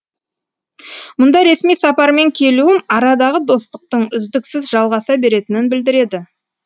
мұнда ресми сапармен келуім арадағы достықтың үздіксіз жалғаса беретінін білдіреді